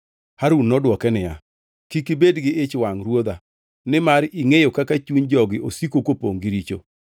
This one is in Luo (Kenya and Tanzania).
Harun nodwoke niya, “Kik ibed gi ich wangʼ ruodha nimar ingʼeyo kaka chuny jogi osiko kopongʼ gi richo.